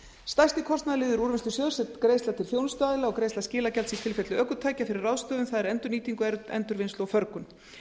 stærsti kostnaðarliður úrvinnslusjóðs er greiðsla til þjónustuaðila og greiðsla skilagjalds í tilfelli ökutækja fyrir ráðstöfun það er endurnýtingu og förgun